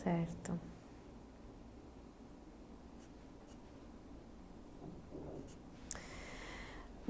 Certo.